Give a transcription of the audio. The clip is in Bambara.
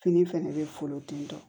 Fini fɛnɛ bɛ folo ten tɔ